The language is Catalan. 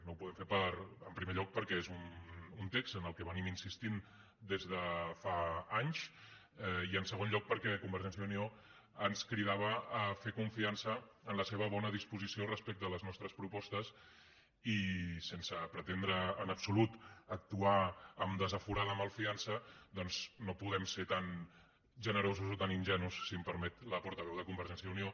no ho podem fer en primer lloc perquè és un text en què hem insistit des de fa anys i en segon lloc perquè convergència i unió ens cridava a fer confiança en la seva bona disposició respecte a les nostres propostes i sense pretendre en absolut actuar amb desaforada malfiança doncs no podem ser tan generosos o tan ingenus si m’ho permet la portaveu de convergència i unió